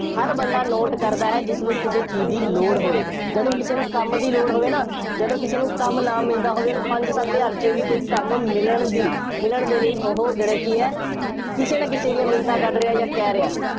ਹਰ ਬੰਦਾ note ਕਰਦਾ ਹੈ ਜਿਸਨੂੰ ਕਿਸੇ ਚੀਜ਼ ਦੀ ਲੋੜ ਹੋਵੇ। ਜਦੋਂ ਕਿਸੇ ਨੂੰ ਕੰਮ ਦੀ ਲੋੜ ਹੋਵੇ ਨਾ, ਜਦੋਂ ਕਿਸੇ ਨੂੰ ਕੰਮ ਨਾ ਮਿਲਦਾ ਹੋਵੇ, ਉਹਨੂੰ ਪੰਜ ਸੱਤ ਹਜ਼ਾਰ ਚ ਵੀ ਕੋਈ ਕੰਮ ਮਿਲਣ ਦੀ, ਮਿਲਣ ਦੇ ਲਈ ਉਹ ਜਿਹੜਾ ਕਿ ਹੈ, ਕਿਸੇ ਨਾ ਕਿਸੇ ਦੀਆਂ ਮਿੰਨਤਾਂ ਕੱਢ ਰਿਹਾ ਜਾਂ ਕਹਿ ਰਿਹਾ।